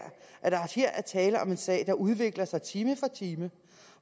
at der her er tale om en sag der udvikler sig time for time